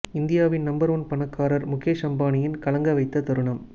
இந்தியாவின் number one Mukesh முகேஷ் அம்பானியின் கலங்க வைத்த தருணம்